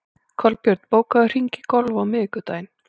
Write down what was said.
Kolbjörn, bókaðu hring í golf á miðvikudaginn.